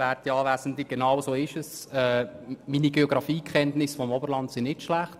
Ich habe die ersten 25 Jahre meines Lebens dort verbracht.